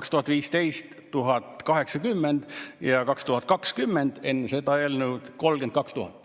2015. aastal oli neid 1080 ja 2020, enne seda eelnõu, 32 000.